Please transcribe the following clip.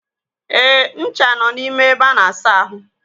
Eh, ncha nọ n'ime ebe a na-asa ahụ.